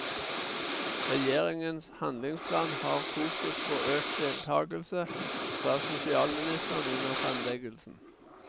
Regjeringens handlingsplan har fokus på økt deltagelse, sa sosialministeren under fremleggelsen.